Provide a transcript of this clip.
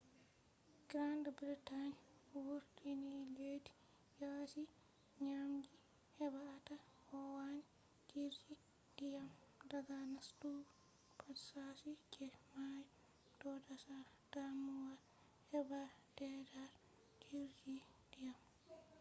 britain vurtinileddi yasi dyamji heba ata kowani jirgi diyam daga nastugo pat shashi je mayo do dasa damuwa heba daidaita neutral jirgi diyam